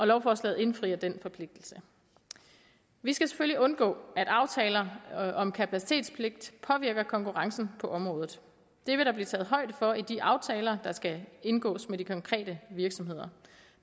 lovforslaget indfrier den forpligtelse vi skal selvfølgelig undgå at aftaler om kapacitetspligt påvirker konkurrencen på området det vil der blive taget højde for i de aftaler der skal indgås med de konkrete virksomheder